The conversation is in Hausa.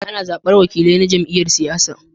Ana zabar wakilai na jam'iyyar siyasa.